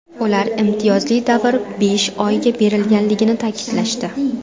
Ular imtiyozli davr besh oyga berilganligini ta’kidlashdi.